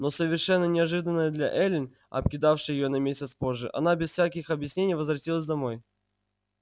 но совершенно неожиданно для эллин обкидавшей её на месяц позже она без всяких объяснений возвратилась домой